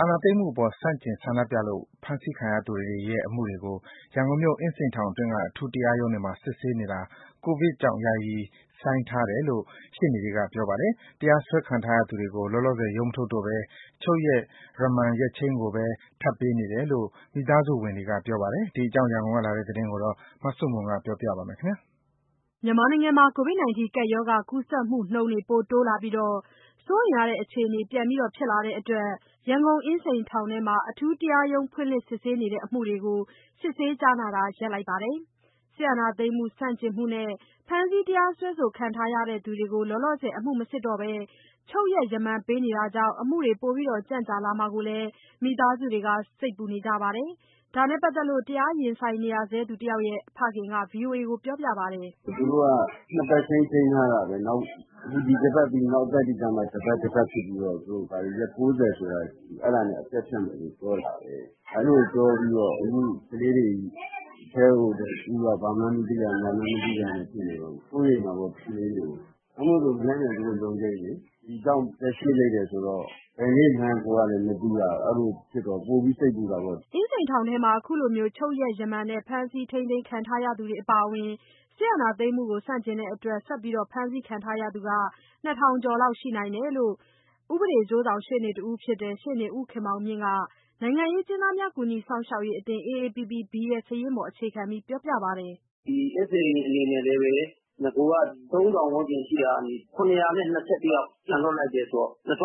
အာဏာသိမ်းမှုအပေါ် ဆန့်ကျင်ဆန္ဒပြလို့ ဖမ်းဆီးခံရသူတွေရဲ့ အမှုတွေကို ရန်ကုန်မြို့၊ အင်းစိန်ထောင်တွင်းက အထူးတရားရုံးတွေမှာ စစ်ဆေးနေတာ ကိုဗစ်ကြောင့် ယာယီရပ်ဆိုင်းထားတယ်လို့ ရှေ့နေတွေက ပြောပါတယ်။ တရားစွဲခံထားရသူတွေကို လောလောဆယ် ရုံးမထုတ်တော့ဘဲ ချုပ်ရက် ရမန်ရက်ချိန်းကိုပဲ ထပ်ပေးနေတယ်လို့ မိသားစုဝင်တွေကပြောပါတယ်။ ဒီအကြောင်း ရန်ကုန်ကလာတဲ့သတင်း မဆုမွန် ပြောပြပါမယ်။ ကိုဗစ်ကပ်ရောဂါကူးစက်မှုနှုန်း စိုးရိမ်ရတဲ့အခြေအနေ ပြန်ဖြစ်လာတဲ့အတွက် ရန်ကုန်အင်းစိန်ထောင်ထဲမှာ အထူးတရားရုံးဖွင့်လှစ် စစ်ဆေးနေတဲ့ အမှုတွေကို စစ်ဆေးကြားနာတာကို ရပ်ထားပါတယ်။ စစ်အာဏာသိမ်းမှု ဆန့်ကျင်တဲ့အတွက် ဖမ်းဆီးတရားစွဲခံနေရသူတွေကို လောလောဆယ် အမှုမစစ်ဘဲ ချုပ်ရက် ရမန်ပေးနေတာကြောင့် အမှုတွေ ပိုကြန့်ကြာမှာကို မိသားစုတွေစိတ်ပူနေကြပါတယ်။ ဒါ နဲ့ပါတ်သက်လို့ တရားရင်ဆိုင်နေရသူတယောက်ရဲ့ ဖခင်က ဗွီအိုအေကို ခုလိုပြောပါတယ်။ “ သူတို့က နှစ်ပတ်ချိန်း ချိန်းထားတာပဲ၊ ဒီအပတ်ပြီး နောက်ပတ်တွေကျမှ တပတ်တပတ်ဖြစ်ပြီးတော့ သူတို့ရက် ၉၀ ဆိုလားအဲဒါနဲ့ အပြတ်ဖြတ်မယ်လို့ ပြောတာပဲ။ အဲဒီလိုပြောပြီးတော့ အခုကလေးတွေ အထဲကို ဦးတို့ဘာမှန်းမသိရ ညာမှန်းမသိရနဲ့ ဆိုတော့ စိုးရိမ်တာပေါ့ ကလေးတွေကို။ နောက်မို့ဆို မနက်ဖြန်သူတို့ရုံးချိန်းလေ၊ ဒီကြောင့် ရက်ရွှေ့လိုက်တယ်ဆိုတော့ ဘယ်နေ့မှန်းကိုယ်က မသိရတော့ ပိုပြီးစိတ်ပူတာပေါ့။” အင်းစိန်ထောင်မှာ ခုလိုချုပ်ရက် ရမန်နဲ့ ဖမ်းဆီးခံထားရသူတွေအပါအဝင် အာဏာသိမ်းမှုကို ဆန့်ကျင်လို့ ဆက်လက် ဖမ်းဆီးခံထားရသူ ၂ ထောင်ကျော် ရှိနိုင်တယ်လို့ အကျိုးဆောင်ရှေ့နေတယောက်ဖြစ်တဲ့ ရှေ့နေဦးခင်မောင်မြင့်က နိုင်ငံရေးအကျဉ်းသားများ ကူညီစောင့်ရှောက်ရေးအသင်း AAPPB ရဲ့ စာရင်းပေါ် အခြေခံပြီး ပြောပါတယ်။ “ဒီအင်းစိန်အနေနဲ့လည်းပဲ နဂိုက ၃၀၀၀ ဝန်းကျင်ရှိတာကနေ ၇၂၁ ယောက် ပြန်လွှတ်လိုက်တယ်ဆိုတော့ ၂